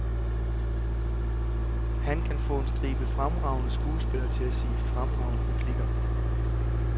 Han kan få en stribe fremragende skuespillere til at sige fremragende replikker.